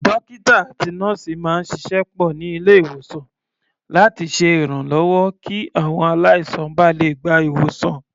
Dókítà àti nọ́ọ̀sì máa ń ṣiṣẹ́ pọ̀ ní ilé-ìwòsàn láti ṣe ìrànlọ́wọ́ kí àwọn aláìsàn ba lè gba ìwòsàn.